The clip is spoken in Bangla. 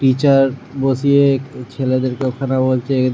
টিচার বসিয়ে ছেলেদের ঐখানে বলছে--